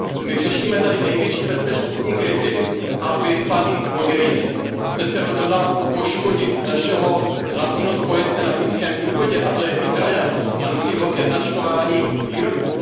My řešíme tady největší bezpečnostní krizi a vy, paní Mogheriniová, jste se rozhodla poškodit našeho hlavního spojence na Blízkém východě, kterým je Izrael, a nutit ho ke značkování výrobků.